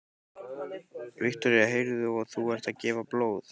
Viktoría: Heyrðu, og þú ert að gefa blóð?